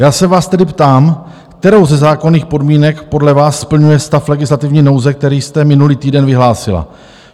Já se vás tedy ptám, kterou ze zákonných podmínek podle vás splňuje stav legislativní nouze, který jste minulý týden vyhlásila.